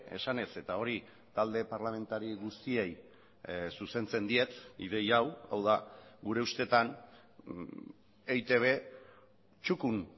esanez eta hori talde parlamentari guztiei zuzentzen diet ideia hau hau da gure ustetan eitb txukun